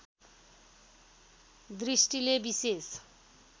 दृष्टिले विशेष